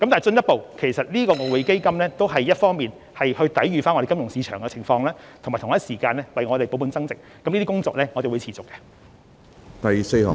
進一步來說，外匯基金的用途一方面是抵禦金融市場的挑戰，同時則達到保本增值的目的，這方面的工作我們會持續進行。